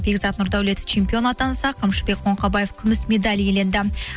бекзат нұрдәулетов чемпион атанса қамшыбек қоңқабаев күміс медаль иеленді